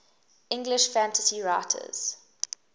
english fantasy writers